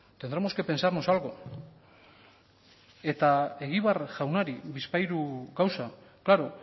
tendremos que pensarnos algo eta egibar jaunari bizpahiru gauza claro